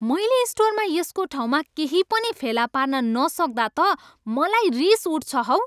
मैले स्टोरमा यसको ठाउँमा केही पनि फेला पार्न नसक्दा त मलाई रिस उठ्छ हौ।